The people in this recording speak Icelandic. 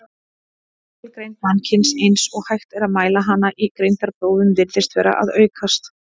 Meðalgreind mannkyns, eins og hægt er að mæla hana í greindarprófum, virðist vera að aukast.